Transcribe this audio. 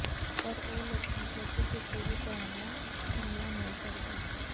ਪਰ ਉਹ ਲੋਕਾਂ ਪ੍ਰਤੀ ਕਿਸੇ ਵੀ ਤਰ੍ਹਾਂ ਦਾ ਹਮਲਾ ਨਹੀਂ ਕਰਦੇ